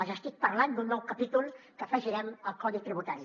els estic parlant d’un nou capítol que afegirem al codi tributari